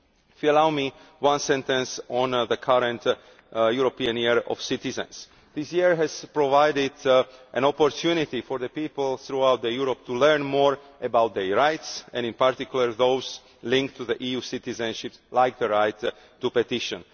If you would allow me one sentence on the current European Year of Citizens this year has provided an opportunity for people throughout Europe to learn more about their rights and in particular those linked to EU citizenship, like the right to petition.